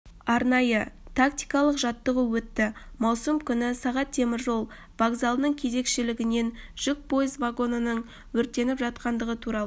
арнайы-тактикалық жаттығу өтті маусым күні сағат теміржол вокзалының кезекшілігінен жүк пойыз вагонының өртеніп жатқандығы туралы